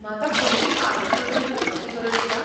म्हाका खंयचीं कागदपत्रां दिवपाचीं गरज आसा?